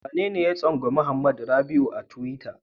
Wanene ya tsangwami Hamad Rabi'u a tiwita?